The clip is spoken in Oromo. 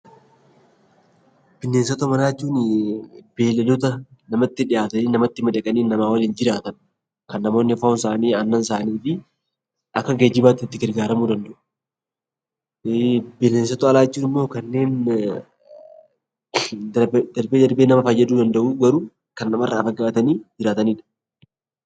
Bineensota manaa jechuun beeyiladoota namatti dhihaatanii nama waliin jiraatan, kan namoonni foon isaanii, aannan isaanii fi akka geejibaatti itti gargaaramuu danda'u. Bineensota alaa jechuun immoo kanneen darbee darbee nama fayyaduu danda'u garuu kan nama irraa fagaatanii jiraatanidha.